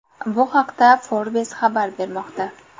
Bu haqda Forbes xabar bermoqda .